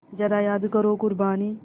ज़रा याद करो क़ुरबानी